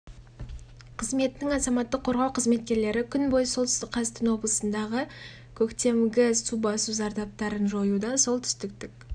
қызметінің азаматтық қорғау қызметкерлері күн бойы солтүстік қазақстан облысындағы көктемгі су басу зардаптарын жоюда солтүстіктік